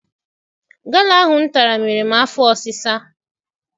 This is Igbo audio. Gala ahụ m tara mere m afọ ọsisa.